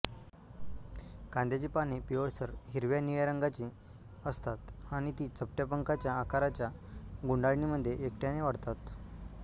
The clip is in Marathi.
कांद्याची पाने पिवळसर हिरव्या निळ्या रंगाची असतात आणि ती चपट्या पंखाच्या आकाराच्या गुंडाळणीमध्ये एकट्याने वाढतात